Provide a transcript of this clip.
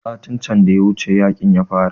Satin can da ya wuce yaƙin ya fara